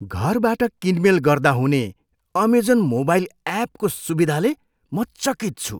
घरबाट किनमेल गर्दा हुने अमेजन मोबाइल एपको सुविधाले म चकित छु।